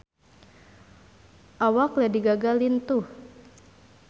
Awak Lady Gaga lintuh